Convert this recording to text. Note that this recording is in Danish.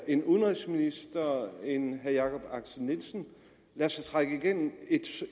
en udenrigsminister og en herre jakob axel nielsen lader sig trække igennem